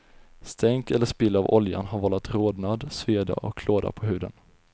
Stänk eller spill av oljan har vållat rodnad, sveda och klåda på huden.